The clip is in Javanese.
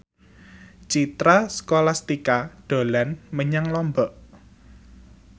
Citra Scholastika dolan menyang Lombok